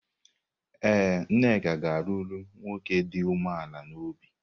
Ee, Nneka ga-alụrụ nwoke dị umeala n’obi.